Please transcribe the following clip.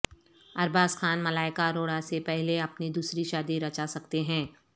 ارباز خان ملائکہ اروڑہ سے پہلے اپنی دوسری شادی رچاسکتے ہیں